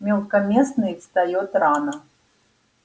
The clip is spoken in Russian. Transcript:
мелкопоместный встаёт рано